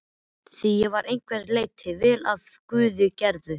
Því ég var að einhverju leyti vel af guði gerður.